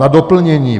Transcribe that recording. Na doplnění.